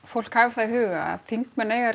fólk hafi það í huga að þingmenn eiga